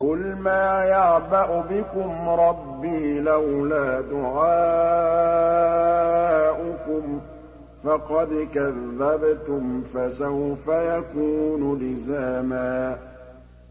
قُلْ مَا يَعْبَأُ بِكُمْ رَبِّي لَوْلَا دُعَاؤُكُمْ ۖ فَقَدْ كَذَّبْتُمْ فَسَوْفَ يَكُونُ لِزَامًا